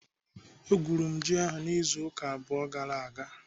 Egwuru m ji ahụ n'izu ụka abụọ gara aga.